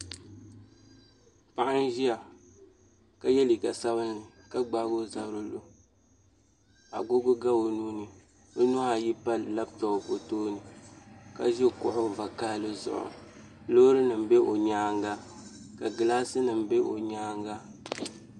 Paɣa n ʒiya ka yɛ liiga sabinli ka gbaagi o zabiri lo agogo ga o nuuni o nuhi ayi pa labtop zuɣu o tooni ka ʒi kuɣu vakaɣali zuɣu loori nim bɛ o nyaanga ka gilaasi nim bɛ o nyaanga